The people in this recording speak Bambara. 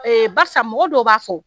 E Barsa mɔgɔ dɔw b'a fɔ